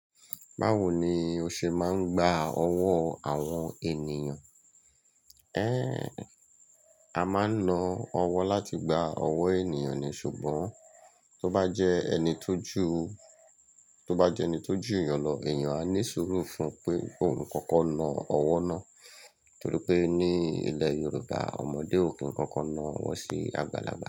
Báwo ni o ṣe máa ń gba ọwọ́ àwọn ènìyàn? Ẹ́n, a máa ń na ọwọ́ láti gba ọwọ́ ènìyàn ni, ṣùgbọ́n tó bá jẹ́ ẹni tó jù, tó bá jẹ́ ẹni tó jù ìyàn lọ, èèyàn á ní sùúrù fún pé òun kankan na ọwọ́ náà. Nítorí pé ní ilẹ̀ Yorùbá, ọmọdé ò kí n kankan na ọwọ́ sí àgbàlagbà.